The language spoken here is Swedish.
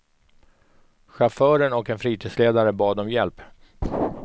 Chauffören och en fritidsledare bad om hjälp.